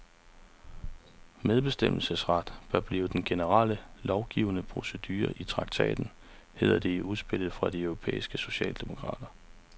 Medbestemmelsesret bør blive den generelle lovgivningsprocedure i traktaten, hedder det i udspillet fra de europæiske socialdemokrater.